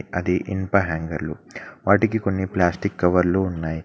అది ఇనుప హ్యాంగర్లు వాటికి కొన్ని ప్లాస్టిక్ కవర్లు ఉన్నాయ్.